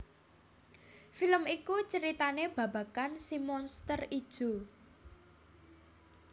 Film iku ceritané babagan si Monster Ijo